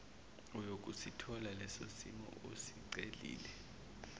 uyokusithola lesosimo osicelile